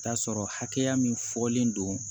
Taa sɔrɔ hakɛya min fɔlen don